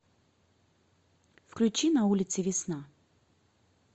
включи на улице весна